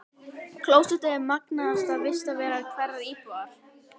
Klósettið er magnaðasta vistarvera hverrar íbúðar.